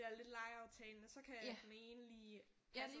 Ja lidt legeaftale nå så kan den ene lige